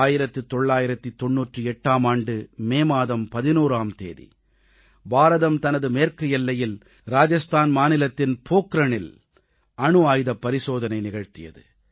1998ஆம் ஆண்டு மே மாதம் 11ஆம் தேதி பாரதம் தனது மேற்கு எல்லையில் ராஜஸ்தான் மாநிலத்தின் பொக்ரானில் அணு ஆயுதப் பரிசோதனை நிகழ்த்தியது